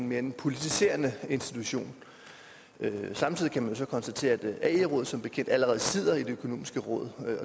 mere en politiserende institution samtidig kan man så konstatere at ae rådet som bekendt allerede sidder i det økonomiske råd